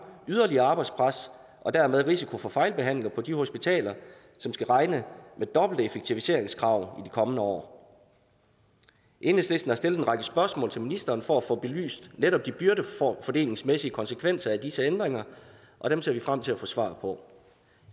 yderligere arbejdspres og dermed en risiko for fejlbehandlinger på de hospitaler som skal regne med dobbelte effektiviseringskrav i de kommende år enhedslisten har stillet en række spørgsmål til ministeren for at få belyst netop de byrdefordelingsmæssige konsekvenser af disse ændringer og dem ser vi frem til at få svar på